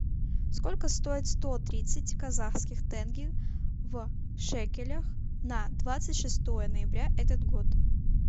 сколько стоит сто тридцать казахских тенге в шекелях на двадцать шестое ноября этот год